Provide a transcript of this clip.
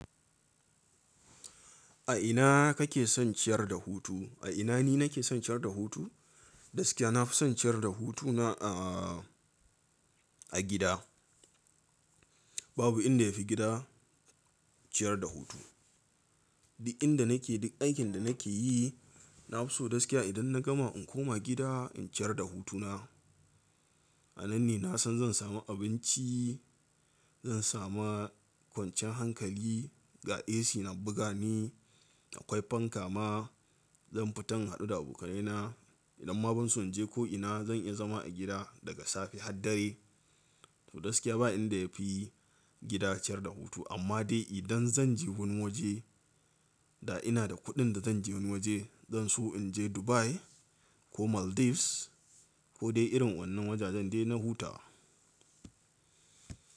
A ina kake son ciyar da hutu? A ina ni nake son ciyar da hutu? Gaskiya nafi son ciyar da hutuna a gida. Babu inda yafi gida ciyar da hutu. Duk inda nake, duk aikin da nake yi, na fi so gaskiya idan na gama in koma gida in ciyar da hutuna. A nan ne na san zan sami abinci, zan sami kwanciyan hankali, ga AC na buga ni, akwai fanka ma, zan fita in haɗu da abokaina. Idan ma ban so in je ko ina zan iya zama a gida daga safe har dare. To gaskiya ba inda yafi gida ciyar da hutu amma dai idan zan je wani waje da ina da kuɗin da zan je wani waje, zan so in je Dubai ko Maldives ko dai irin wannan wajajen dai na huta.